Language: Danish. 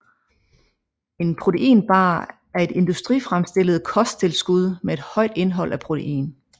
En proteinbar er et industrifremstillet kosttilskud med et højt indhold af protein